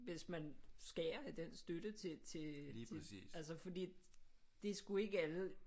Hvis man skærer i den støtte til altså fordi det er sgu ikke alle